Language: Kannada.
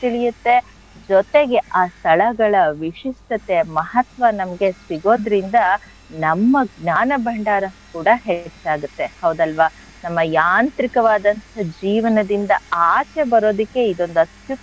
ತಿಳಿಯತ್ತೆ ಜೊತೆಗೆ ಆ ಸ್ಥಳಗಳ ವಿಶಿಷ್ಟತೆ ಮಹತ್ವ ನಮ್ಗೆ ಸಿಗೋದ್ರಿಂದ ನಮ್ಮ ಜ್ಞಾನ ಭಂಡಾರ ಕೂಡ ಹೆಚ್ಚಾಗತ್ತೆ ಹೌದಲ್ವ? ನಮ್ಮ ಯಾಂತ್ರಿಕವಾದಂಥ ಜೀವನದಿಂದ ಆಚೆ ಬರೋದಿಕ್ಕೆ ಇದೊಂದ್ ಅತ್ಯು~,